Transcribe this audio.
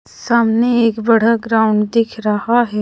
सामने एक बड़ा ग्राउन्ड दिख रहा हैं।